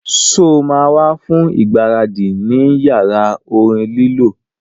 Sọ ma wá fún ìgbáradì ní yàrá orin lílọ